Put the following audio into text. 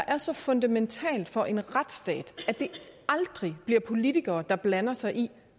er så fundamentalt for en retsstat at det aldrig bliver politikere der blander sig i